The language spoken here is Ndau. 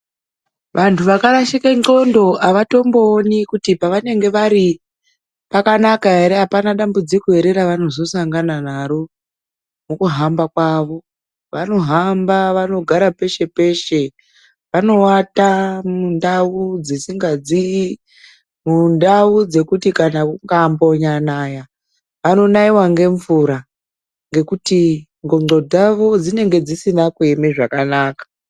Vanhu vakarashika ndxondo avatombooni kuti pevanenge vari pakanaka ere, apana dambudziko ere ravanozosangana naro, mukuhamba kwavo. Vanohamba, vanogara peshe-peshe, vanoata mundau dzisikadzii. Mundau dzekuti kana kukanyambonaya vanonaiwa ngemvura ngekuti ndxondo dzavo dzinenge dzisina kuema zvakanaka.